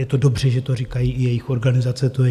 Je to dobře, že to říkají i jejich organizace.